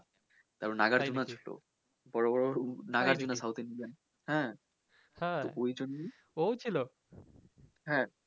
হ্যা